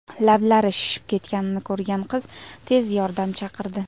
Lablari shishib ketganini ko‘rgan qiz tez yordam chaqirdi.